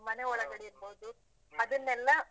.